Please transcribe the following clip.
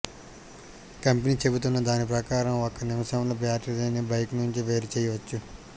company చెబుతున్న దాని ప్రకారం ఒక్క నిమిషంలో బ్యాటరీని బైక్ నుంచి వేరు చేయవచ్చు